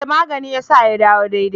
E! magani ya sa ya dawo daidai.